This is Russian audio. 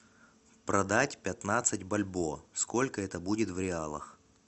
продать пятнадцать бальбоа сколько это будет в реалах